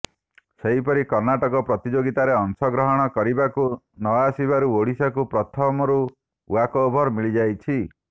ସେହିପରି କର୍ଣ୍ଣାଟକ ପ୍ରତିଯୋଗିତାରେ ଅଂଶଗ୍ରହଣ କରିବାକୁ ନଆସିବାରୁ ଓଡ଼ିଶାକୁ ପ୍ରଥମରୁ ଓ୍ବାକ୍ଓଭର ମିଳିଯାଇଛି